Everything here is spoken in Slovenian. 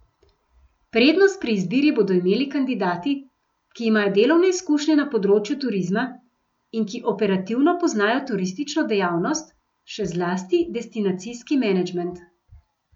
Prednost pri izbiri bodo imeli kandidati, ki imajo delovne izkušnje na področju turizma in ki operativno poznajo turistično dejavnost, še zlasti destinacijski menedžment.